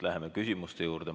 Läheme küsimuste juurde.